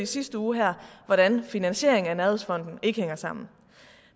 sidste uge hvordan finansieringen af nærhedsfonden ikke hænger sammen